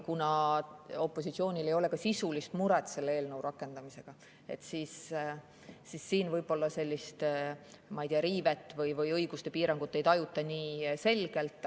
Kuna opositsioonil ei ole ka sisulist muret selle eelnõu rakendamisega, siis siin võib-olla sellist riivet või õiguste piirangut nii selgelt ei tajuta.